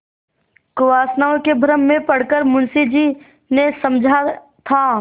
कुवासनाओं के भ्रम में पड़ कर मुंशी जी ने समझा था